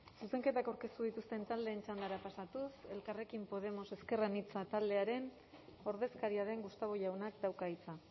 zuzenketak aurkeztu dituzten taldeen txandara pasatuz elkarrekin podemos ezker anitza taldearen ordezkaria den gustavo jaunak dauka hitza